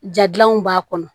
Ja gilanw b'a kɔnɔ